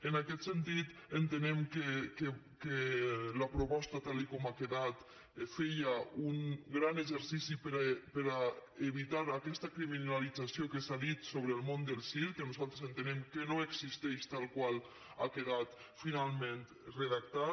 en aquest sentit entenem que la proposta tal com ha quedat feia un gran exercici per a evitar aquesta criminalització que s’ha dit sobre el món del circ que nosaltres entenem que no existeix tal com ha quedat finalment redactat